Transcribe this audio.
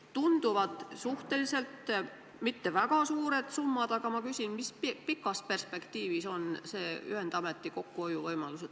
Tunduvad mitte väga suured summad, aga ma küsin, millised on pikas perspektiivis ühendameti kokkuhoiuvõimalused.